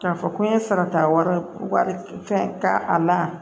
K'a fɔ ko n ye sarata wari fɛn ka a la